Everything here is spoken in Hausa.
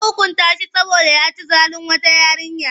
An hukunta shi saboda ya ci zalin wata yarinya.